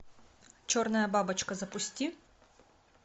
черная бабочка запусти